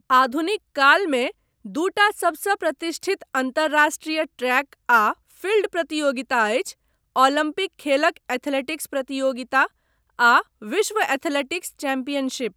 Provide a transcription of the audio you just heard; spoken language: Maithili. आधुनिक कालमे दूटा सबसँ प्रतिष्ठित अन्तर्राष्ट्रीय ट्रैक आ फील्ड प्रतियोगिता अछि ओलम्पिक खेलक एथलेटिक्स प्रतियोगिता आ विश्व एथलेटिक्स चैंपियनशिप।